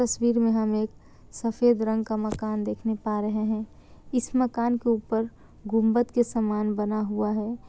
तस्वीर में हम एक सफेद रंग का मकान देखने पा रहे हैं इस मकान के ऊपर गुम्बद के समान बना हुआ है।